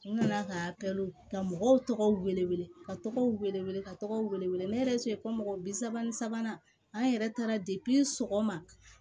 N nana ka ka mɔgɔw tɔgɔ wele ka tɔgɔw wele wele ka tɔgɔw wele wele wele ne yɛrɛ tun ye ko mɔgɔ bi saba ni sabanan an yɛrɛ taara sɔgɔma